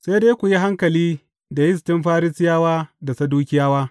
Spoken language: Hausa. Sai dai ku yi hankali da yistin Farisiyawa da Sadukiyawa.